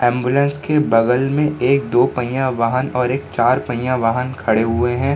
Ambulance के बगल में एक दो पहिया वाहन और एक चार पहिया वाहन खड़े हुए हैं।